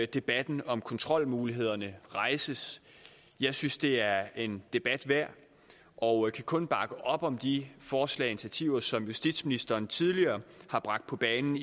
debatten om kontrolmulighederne rejses jeg synes det er en debat værd og kan kun bakke op om de forslag og initiativer som justitsministeren tidligere har bragt på banen